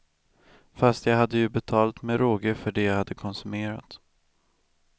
Fast jag hade ju betalt med råge för det jag hade konsumerat.